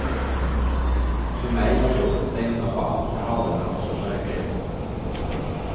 För mej var jobbet det enda band jag hade med nån sorts verklighet.